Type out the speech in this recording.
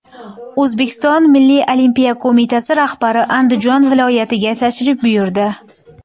O‘zbekiston milliy olimpiya qo‘mitasi rahbari Andijon viloyatiga tashrif buyurdi.